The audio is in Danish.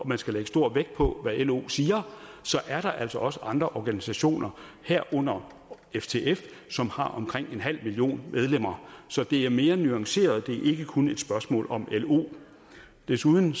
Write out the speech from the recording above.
man skal lægge stor vægt på hvad lo siger så er der altså også andre organisationer herunder ftf som har omkring en halv million medlemmer så det er mere nuanceret det er ikke kun et spørgsmål om lo desuden